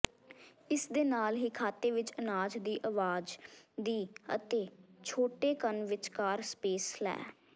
ਇਸ ਦੇ ਨਾਲ ਹੀ ਖਾਤੇ ਵਿੱਚ ਅਨਾਜ ਦੀ ਆਵਾਜ਼ ਦੀ ਅਤੇ ਛੋਟੇਕਣ ਵਿਚਕਾਰ ਸਪੇਸ ਲੈ